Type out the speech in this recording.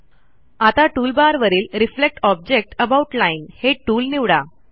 आता टूलबारवरील reflect object about line हे टूल निवडा